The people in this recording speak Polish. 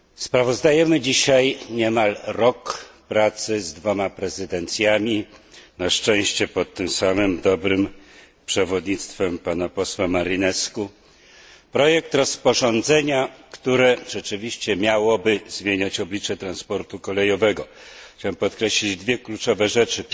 Mamy za sobą dzisiaj niemalże rok pracy z dwoma prezydencjami, na szczęście pod tym samym dobrym przewodnictwem pana posła Marinescu, nad projektem rozporządzenia, które rzeczywiście miałoby zmienić oblicze transportu kolejowego. Chciałem podkreślić dwie kluczowe rzeczy.